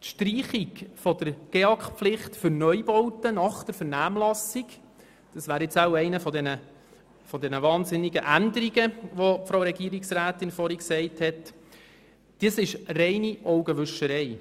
Die Streichung der GEAK-Pflicht für Neubauten nach der Vernehmlassung – das wäre wohl jetzt eine dieser ungeheuren Änderungen, von der die Regierungsrätin vorhin gesprochen hat – ist reine Augenwischerei.